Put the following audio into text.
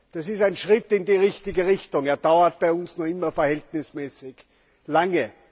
Es ist ein Schritt in die richtige Richtung, er dauert bei uns nur immer verhältnismäßig lang.